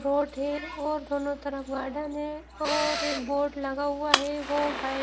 खेल और दोनों तरफ गार्डन है और एक बोर्ड लगा हुआ है वो है।